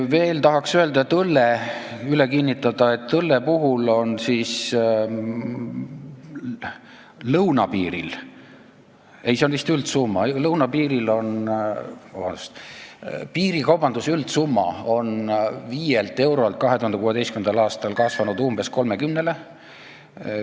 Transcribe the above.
Veel tahaks üle kinnitada, et õlle puhul on lõunapiiril, ei, see on vist üldsumma, piirikaubanduse üldsumma on 5 miljonilt eurolt 2016. aastal kasvanud umbes 30-le ...